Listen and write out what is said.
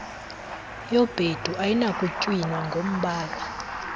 yobhedu ayinakutywinwa ngombala